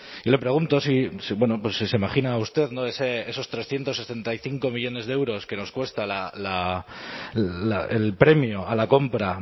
y le pregunto si se imagina usted esos trescientos setenta y cinco millónes de euros que nos cuesta el premio a la compra